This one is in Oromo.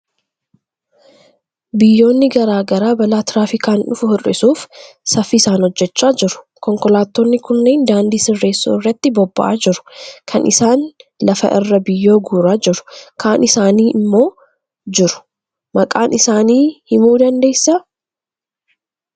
Biyyoonni garaa garaa balaa tiraafikaan dhufu hir'isuuf saffisaan hojjechaa jiru. Konkolaatonni kunneen daandii sirreessuu irratti bobba'aa jiru. Kaan isaanii lafa irraa biyyoo guuraa jiru, kaan isaanii immoo jiru. Maqaan isaanii himuu dandeessaa?